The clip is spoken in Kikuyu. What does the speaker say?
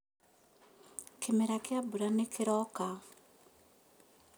Kĩmera kĩa mbura nĩkĩroka